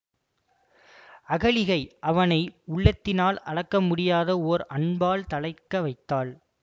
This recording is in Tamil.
அகலிகை அவனை உள்ளத்தினால் அளக்க முடியாத ஓர் அன்பால் தழைக்க வைத்தாள்